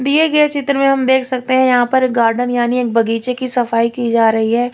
दिए गये चित्र में हम देख सकते है यहाँ पर गार्डन यानि एक बगीचे की सफाई की जा रही है।